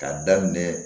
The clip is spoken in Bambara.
K'a daminɛ